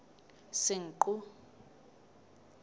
senqu